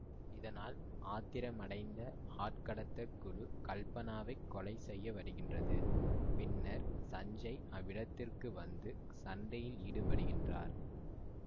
இதனால் ஆத்திரமைடைந்த ஆட்கடத்தற் குழு கல்பனாவைக் கொலைசெய்யவருகின்றது பின்னர் சஞ்சேய் அவ்விடத்திற்கு வந்து சண்டையிலீடுபடுகின்றார்